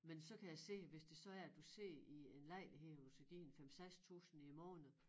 Men så kan jeg se hvis det så er at du sidder i en lejlighed hvor du skal give en 5 6000 i æ måned